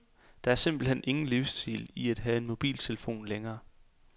Der er simpelt hen ingen livsstil i at have en mobiltelefon længere.